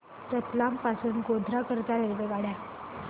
रतलाम पासून गोध्रा करीता रेल्वेगाड्या